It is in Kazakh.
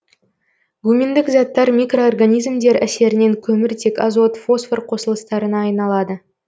гуминдік заттар микроорганизмдер әсерінен көміртек азот фосфор қосылыстарына айналады